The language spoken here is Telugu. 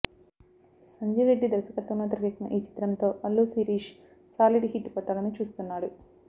సంజీవ్ రెడ్డి దర్శకత్వంలో తెరకెక్కిన ఈ చిత్రంతో అల్లు శిరీష్ సాలీడ్ హిట్ కొట్టాలని చూస్తున్నాడు